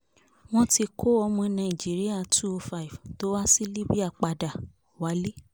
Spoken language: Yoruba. wọ́n ti kọ́ ọmọ nàìjíríà two hundred and five tó há sí libya padà wálé